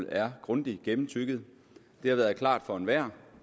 er grundigt gennemtygget det har været klart for enhver